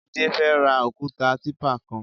Jide fè rà ókùtá tìpá kán